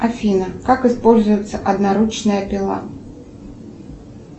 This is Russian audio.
афина как используется одноручная пила